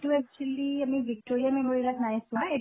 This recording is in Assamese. এইটো actually আমি victoria memorial ত নাই চোৱা, এইটো